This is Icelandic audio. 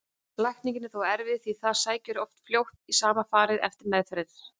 Lækning er þó erfið því það sækir oft fljótt í sama farið eftir meðferð.